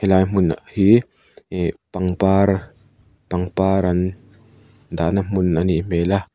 helai hmun hi ihh pangpar pangpar an dahna hmun a nih hmêl a.